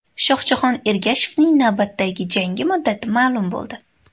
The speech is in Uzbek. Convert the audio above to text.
Shohjahon Ergashevning navbatdagi jangi muddati ma’lum bo‘ldi.